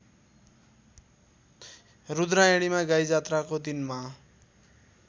रूद्रायणीमा गाईजात्राको दिनमा